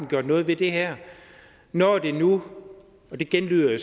gjort noget ved det her når det nu og det genlyder jo